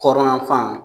Kɔrɔnyan fan fan